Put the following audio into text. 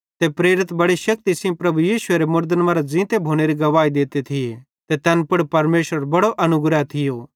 ते प्रेरित बेड़ि शेक्ति सेइं प्रभु यीशुएरे मुड़दन मरां ज़ींते भोनेरी गवाही देते थिये ते तैन पुड़ परमेशरेरो बड़ो अनुग्रह थियो